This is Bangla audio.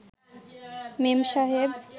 মেম সাহেব